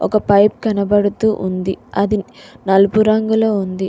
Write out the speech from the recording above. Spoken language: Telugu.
ఒక పైపు కనపడుతూ ఉంది అది నలుపు రంగులో ఉంది.